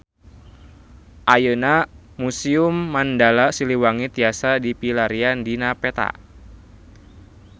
Ayeuna Museum Mandala Siliwangi tiasa dipilarian dina peta